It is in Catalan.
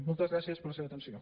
moltes gràcies per la seva atenció